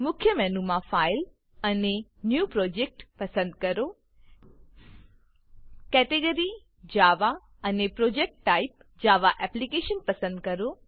મુખ્ય મેનુમાંથી file file અને ન્યૂ પ્રોજેક્ટ ન્યુ પ્રોજેક્ટ પસંદ કરો કેટેગરી કેટેગરી જાવા અને project type project type Java application પસંદ કરો